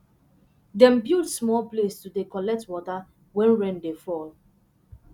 dem build small place to dey collect water when rain dey fall